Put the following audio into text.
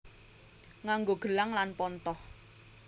Nganggo gelang lan pontoh